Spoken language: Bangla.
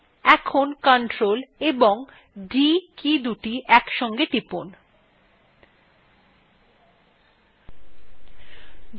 এখন ctrl এবং d কীদুটি একসাথে টিপুন